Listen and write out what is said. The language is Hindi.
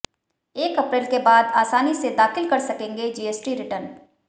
एक अप्रैल के बाद आसानी से दाखिल कर सकेंगे जीएसटी रिटर्न